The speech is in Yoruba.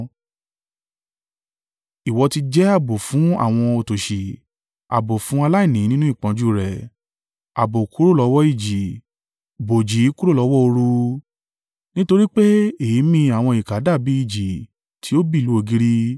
Ìwọ ti jẹ́ ààbò fún àwọn òtòṣì ààbò fún aláìní nínú ìpọ́njú rẹ̀ ààbò kúrò lọ́wọ́ ìjì bòòji kúrò lọ́wọ́ ooru. Nítorí pé èémí àwọn ìkà dàbí ìjì tí ó bì lu ògiri